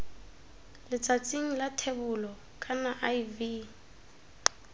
letsatsing la thebolo kana iv